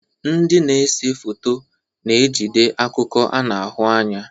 Ndị na-ese foto na-ejide akụkọ a na-ahụ anya.